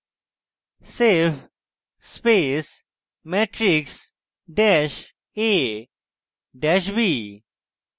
save space matrix dash a dash b